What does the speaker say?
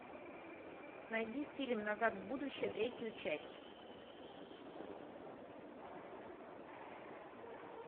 найди фильм назад в будущее третью часть